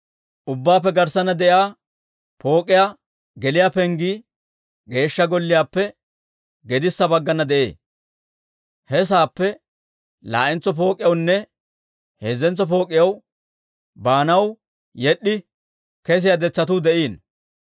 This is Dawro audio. Ubbaappe garssana de'iyaa pook'iyaa geliyaa penggii Geeshsha Golliyaappe gedissa baggana de'ee; he saappe laa'entso pook'iyawunne heezzentso pook'iyaw baanaw yed'd'i kesiyaa detsatuu de'iino.